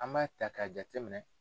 An b'a ta k'a jateminɛ